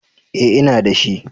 Eh ina da shi.